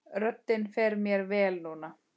Röddin fer mér vel núna.